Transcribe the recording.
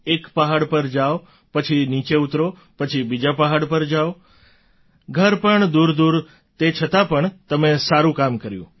એક પહાડ પર જાવ પછી નીચે ઉતરો પછી બીજા પહાડ પર જાવ ઘર પણ દૂરદૂર તે છતાં પણ તમે સારું કામ કર્યું